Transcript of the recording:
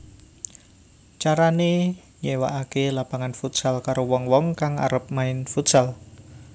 Carané nyéwakaké lapangan futsal karo wong wong kang arep main futsal